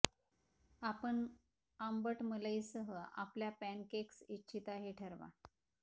आपण आंबट मलई सह आपल्या पॅनकेक्स इच्छिता हे ठरवा